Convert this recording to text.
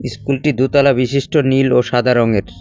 ইস্কুলটি দোতলা বিশিষ্ট নীল ও সাদা রঙের।